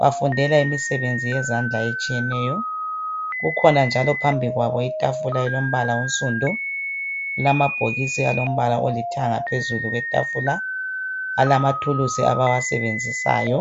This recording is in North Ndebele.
Bafundela imisebenzi yezandla etshiyeneyo. Kukhona njalo phambi kwabo itafula elombala onsundu, kulamabhokisi alombala olithanga phezulu kwetafula. Alamathuluzi abawasebenzisayo.